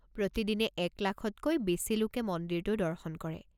প্ৰতিদিনে এক লাখতকৈ বেছি লোকে মন্দিৰটোৰ দৰ্শন কৰে।